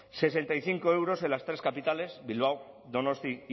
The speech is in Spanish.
sesenta y cinco euros en las tres capitales bilbao donostia